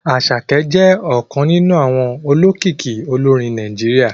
Àṣàkẹ́ jẹ́ ọ̀kan nínú àwọn olókìkí olórin Nàìjíríà